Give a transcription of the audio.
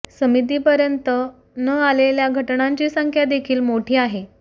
समितीपर्यंत न आलेल्या घटनांची संख्या देखील मोठी आहे